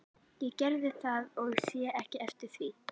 Ég gerði það og sé ekki eftir því.